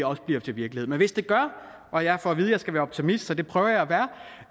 også bliver til virkelighed men hvis det gør og jeg får at vide at jeg skal være optimist så det prøver jeg